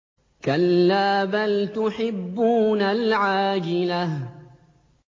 كَلَّا بَلْ تُحِبُّونَ الْعَاجِلَةَ